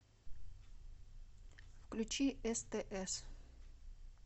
включи стс